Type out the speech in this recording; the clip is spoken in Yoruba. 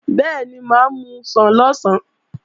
Bẹ́ẹ̀ni, mà á musàn lọ̀sán